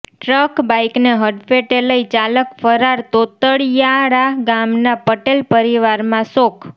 truck બાઈકને હડફેટે લઈ ચાલક ફરાર તોતણિયાળા ગામના પટેલ પરિવારમાં શોક